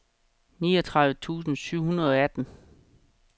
niogtredive tusind syv hundrede og atten